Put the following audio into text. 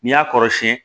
N'i y'a kɔrɔsiyɛn